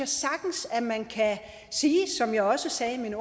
jeg sagtens man kan sige som jeg også sagde i min